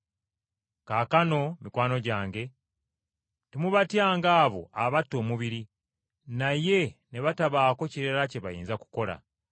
“Kaakano mikwano gyange, temubatyanga abo abatta omubiri, naye ne batabaako kirala kye bayinza kukola.